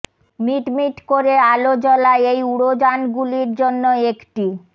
meet মিট করে আলো জ্বলা এই উড়োযানগুলির জন্য একটি